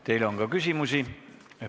Teile on ka küsimusi.